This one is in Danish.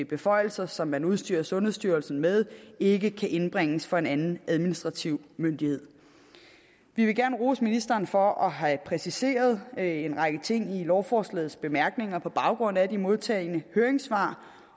beføjelser som man udstyrer sundhedsstyrelsen med ikke kan indbringes for en anden administrativ myndighed vi vil gerne rose ministeren for at have præciseret en række ting i lovforslagets bemærkninger på baggrund af de modtagne høringssvar